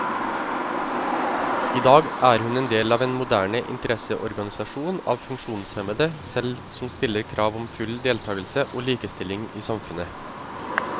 I dag er hun en del av en moderne interesseorganisasjon av funksjonshemmede selv som stiller krav om full deltagelse og likestilling i samfunnet.